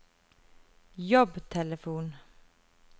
jobbtelefon